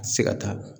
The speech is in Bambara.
A tɛ se ka taa